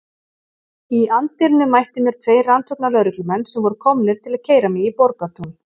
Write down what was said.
Í anddyrinu mættu mér tveir rannsóknarlögreglumenn sem voru komnir til að keyra mig í Borgartún.